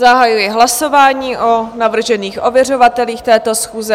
Zahajuji hlasování o navržených ověřovatelích této schůze.